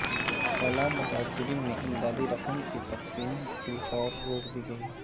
سیلاب متاثرین میں امدادی رقم کی تقسیم فی الفور روک دی گئی